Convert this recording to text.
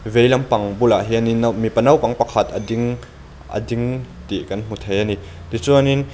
vei lampang bulah hianin nau mipa naupang pakhatin a ding a ding tih kan hmu thei a ni tichuanin.